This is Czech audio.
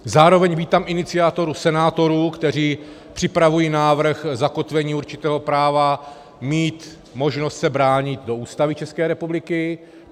Zároveň vítám iniciativu senátorů, kteří připravují návrh zakotvení určitého práva mít možnost se bránit do Ústavy České republiky.